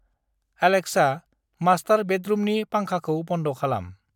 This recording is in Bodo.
एलेक्सा, मास्टार बेडरुमनि फांखाखौ बन्द खालाम।